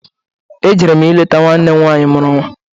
Ejere m ileta nwanne m nwanyị mụru nnwa.